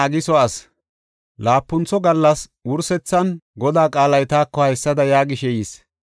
Laapuntho gallas wursethan Godaa qaalay taako haysada yaagishe yis: